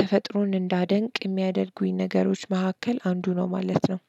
ተፈጥሮን እንዳደንቅ የሚያደርጉኝ ነገሮች መካከል አንዱ ነው ማለት ነው።